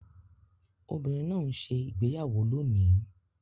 Obìnrin náà ń ṣe ìgbéyàwó lónìí